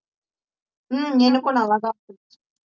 ஹம் எனக்கும் நல்லாத்தான் போச்சு